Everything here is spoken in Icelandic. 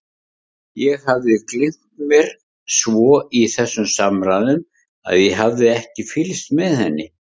Ég hafði gleymt mér svo í þessum samræðum að ég hafði ekki fylgst með henni.